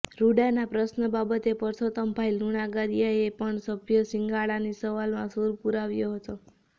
રૃડાના પ્રશ્ર બાબતે પરસોતમભાઇ લુણાગરીયાએ પણ સભ્ય શિંગાળાની સવાલમાં સુર પુરાવ્યો હતો